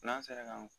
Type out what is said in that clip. N'an sera k'an